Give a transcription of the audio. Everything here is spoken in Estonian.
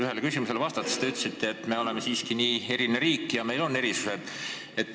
Ühele küsimusele vastates te ütlesite, et me oleme siiski nii eriline riik ja meil on omad erisused.